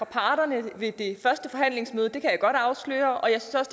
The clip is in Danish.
parterne ved det første forhandlingsmøde det kan jeg godt afsløre og jeg synes